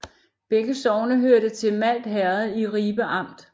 Begge sogne hørte til Malt Herred i Ribe Amt